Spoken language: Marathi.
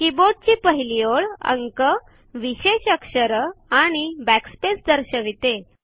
कीबोर्ड ची पहिली ओळ अंक विषेश अक्षरआणि backspace दर्शविते